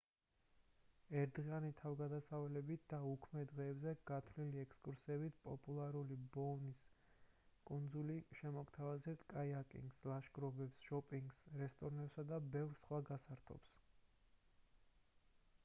ერთდღიანი თავგადასავლებით და უქმე დღეებზე გათვლილი ექსკურსიებით პოპულარული ბოუენის კუნძული შემოგთავაზებთ კაიაკინგს ლაშქრობებს შოპინგს რესტორნებსა და ბევრ სხვას გასართობს